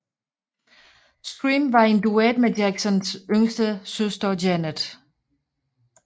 Scream var en duet med Jacksons yngste søster Janet